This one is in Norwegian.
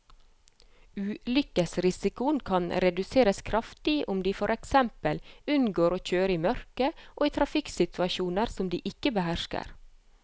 Ulykkesrisikoen kan reduseres kraftig om de for eksempel unngår å kjøre i mørket og i trafikksituasjoner som de ikke behersker.